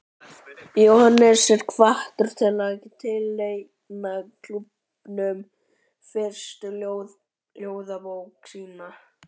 Jóhannes er hvattur til að tileinka klúbbnum fyrstu ljóðabók sína.